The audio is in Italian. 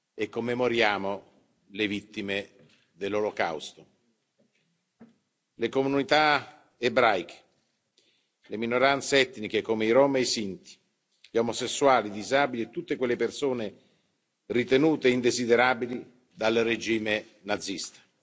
e commemoriamo le vittime dell'Olocausto le comunità ebraiche, le minoranze etniche, come i rom e sinti, gli omosessuali, i disabili e tutte quelle persone ritenute indesiderabili dal regime nazista.